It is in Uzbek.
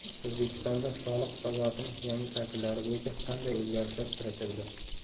O‘zbekistonda soliq hisobotining yangi shakllari bo‘yicha qanday o‘zgarishlar kiritildi?.